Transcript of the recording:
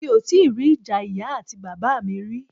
Emi o ti ri ija iya ati baba mi ri.